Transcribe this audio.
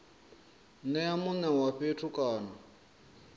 nea mune wa fhethu kana